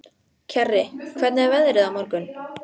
Kjarri, hvernig er veðrið á morgun?